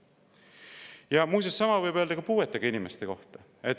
Ja muuseas, sama võib öelda ka puuetega inimeste kohta.